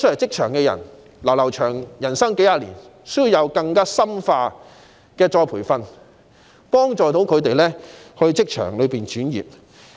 他們的人生路仍然漫長，需要獲得更深化的再培訓，幫助他們轉職。